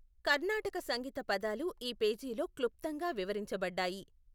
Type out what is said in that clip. కర్ణాటక సంగీత పదాలు ఈ పేజీలో క్లుప్తంగా వివరించబడ్డాయి.